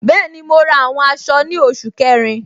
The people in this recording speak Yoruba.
Bẹẹni, mo ra àwọn aṣọ ni oṣù kẹrin.